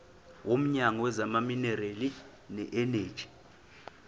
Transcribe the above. womnyango wezamaminerali neeneji